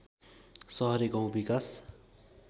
सहरे गाउँ विकास